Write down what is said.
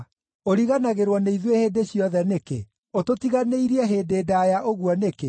Ũriganagĩrwo nĩ ithuĩ hĩndĩ ciothe nĩkĩ? Ũtũtiganĩirie hĩndĩ ndaaya ũguo nĩkĩ?